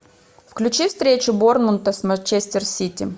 включи встречу борнмута с манчестер сити